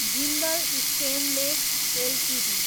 Jindal stainless Ltd